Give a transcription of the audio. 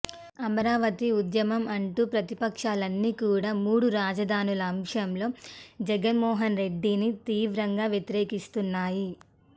అమరావతి ఉద్యమం అంటూ ప్రతిపక్షాలన్నీ కూడా మూడు రాజధానుల అంశంలో జగన్ మోహన్ రెడ్డిని తీవ్రంగా వ్యతిరేకిస్తున్నాయి